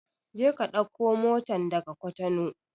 Je ka ɗauko motan daga Cotonou!